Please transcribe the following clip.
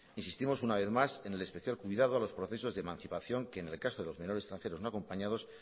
insistimos una vez más en el especial cuidado a los procesos de emancipación que en el caso de los menores extranjeros no acompañados